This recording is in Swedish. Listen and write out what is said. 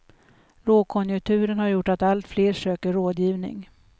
Lågkonjunkturen har gjort att allt fler söker rådgivning.